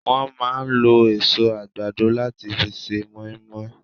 Wọ́n máa ń lo èso àgbàdo láti fi ṣe moinmoin